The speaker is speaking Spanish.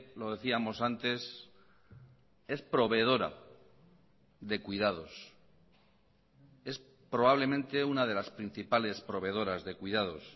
lo decíamos antes es proveedora de cuidados es probablemente una de las principales proveedoras de cuidados